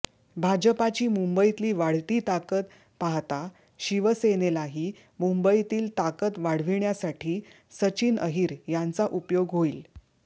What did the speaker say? भाजपाची मुंबईतली वाढती ताकद पाहता शिवसेनेलाही मुंबईतील ताकद वाढविण्यासाठी सचिन अहिर यांचा उपयोग होईल